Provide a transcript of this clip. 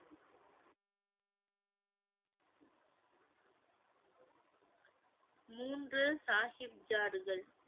மூன்று சாஹிப் ஜாடுகள்